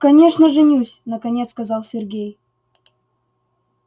конечно женюсь наконец сказал сергей